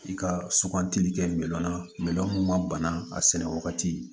I ka sugantili kɛ miliyɔn na milɔn a sɛnɛ wagati